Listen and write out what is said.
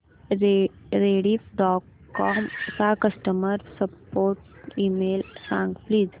Rediff dot com चा customer support email सांग please